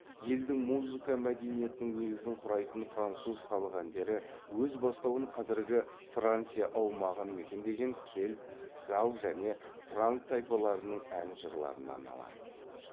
елдің музыка мәдениетінің негізін құрайтын француз халық әндері өз бастауын қазіргі франция аумағын мекендеген кельт галл және франк тайпаларының ән жырларынан алады